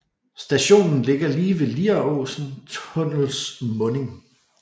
Stationen ligger lige ved Lieråsen tunnels munding